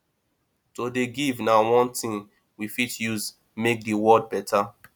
to dey give na one tin we fit use make di world beta